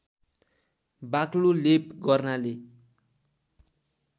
बाक्लो लेप गर्नाले